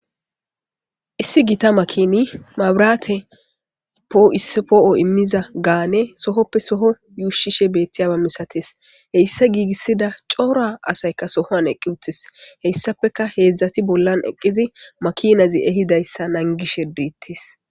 issi gita makini mabiraate po7ispoo7o immiza gaane sohoppe soho yuushishe beettiyaba misates heyssa giigissida coora asayka sohoan eqqi uttes heyssafeka heedzdzati bollan eqqizi makinazi ehidayssa nangishe diittes